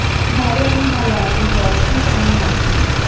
হ্যাঁ রে আমি ভালো আছি বল তুই কেমন আছিস